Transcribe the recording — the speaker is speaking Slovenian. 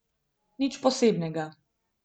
Nič posebnega.